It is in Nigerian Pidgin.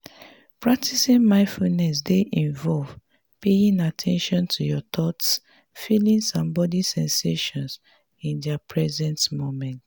practicing mindfulness dey involve paying at ten tion to your thoughts feelings and body sensations in di present moment.